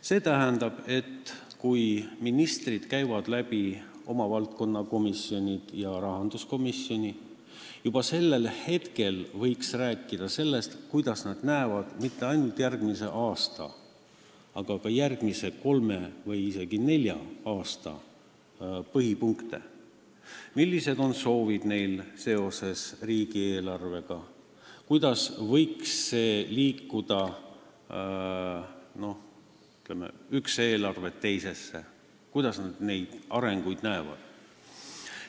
See tähendab, et kui ministrid käivad oma valdkonna komisjonis ja rahanduskomisjonis, juba siis võiks rääkida sellest, kuidas nad näevad mitte ainult järgmise aasta, vaid ka järgmise kolme või isegi nelja aasta eelarve põhipunkte, millised on nende soovid seoses riigieelarvega, kuidas võiks liikuda, ütleme, üks eelarve teisesse, kuidas nad neid arenguid näevad.